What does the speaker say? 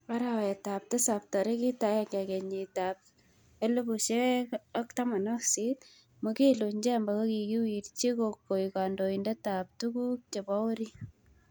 Arawet ab tisab tarikit agenge kenyit ab 2018 Mwigulu Nchemba kikiwirchi koek kandoindet ab tuguk chebo orit.